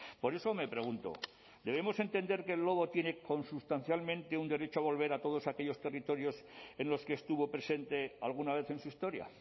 por eso me pregunto debemos entender que el lobo tiene consustancialmente un derecho volver a todos aquellos territorios en los que estuvo presente alguna vez en su historia